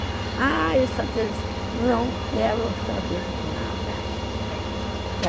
Ah, isso é aquele... Não quero saber de nada.